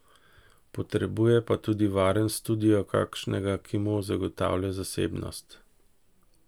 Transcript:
Potrebuje pa tudi varen studio, takšnega, ki mu zagotavlja zasebnost.